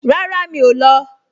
Rárá, mi ò lọ